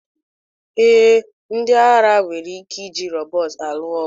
Ee, ndị agha nwere ike iji rọbọt alụ ọgụ